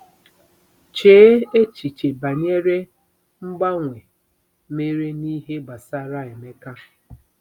Chee echiche banyere mgbanwe mere n'ihe gbasara Emeka.